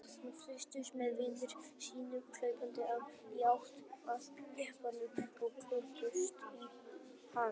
Hann fylgdist með vini sínum hlaupa í átt að jeppanum og klöngrast upp í hann.